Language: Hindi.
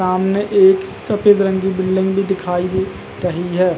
सामने एक सफेद रंग की बिल्डिंग भी दिखाई दे रही है।